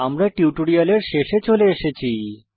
আমরা টিউটোরিয়ালের শেষে চলে এসেছি